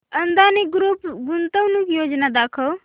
Adani group गुंतवणूक योजना दाखव